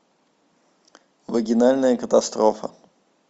вагинальная катастрофа